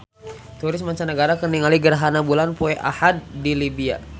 Turis mancanagara keur ningali gerhana bulan poe Ahad di Libya